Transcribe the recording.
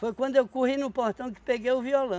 Foi quando eu corri no portão que peguei o